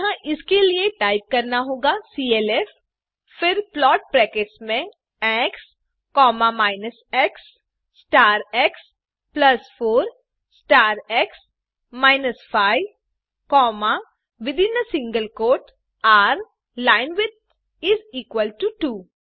अतः इसके लिए टाइप करना होगा सीएलएफ फिर प्लॉट ब्रैकेट्स में x minus x star x plus 4 star x minus 5rलाइनविड्थ इस इक्वल टो 2